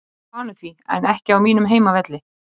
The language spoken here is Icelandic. Ég er vanur því, en ekki á mínum heimavelli.